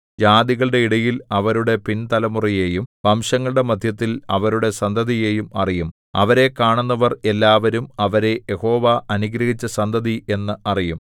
ജാതികളുടെ ഇടയിൽ അവരുടെ പിൻതലമുറയെയും വംശങ്ങളുടെ മദ്ധ്യത്തിൽ അവരുടെ സന്തതിയെയും അറിയും അവരെ കാണുന്നവർ എല്ലാവരും അവരെ യഹോവ അനുഗ്രഹിച്ച സന്തതി എന്ന് അറിയും